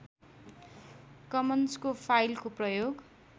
कमन्सको फाइलको प्रयोग